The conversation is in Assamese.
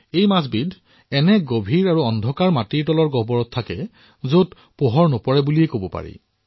এই মাছবিধ গভীৰ অন্ধকাৰৰ মাটিৰ তলত থকা গুহাতহে থাকে যত পোহৰে ঢুকি নাপায়েই